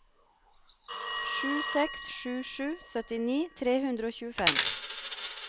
sju seks sju sju syttini tre hundre og tjuefem